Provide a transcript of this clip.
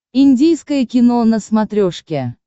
индийское кино на смотрешке